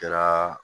Kɛra